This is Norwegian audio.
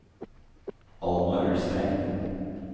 Alma Ulstein